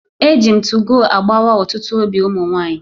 Eji m 2go agbawa otutu obi umu nwanyi